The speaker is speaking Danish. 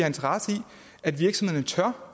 interesse i at virksomhederne tør